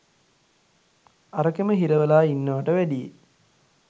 අරකෙම හිරවෙලා ඉන්නවට වැඩියෙ.